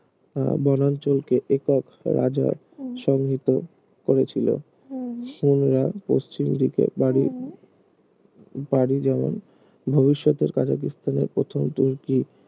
আহ বনাঞ্চল কে একক রাজা সংহিত করেছিল হুনরা পশ্চিম দিকে পাড়ি পাড়ি যেমন ভবিষ্যতের কাজাকিস্তানের প্রথম তুর্কি